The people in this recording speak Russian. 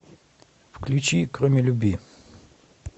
включи кроме любви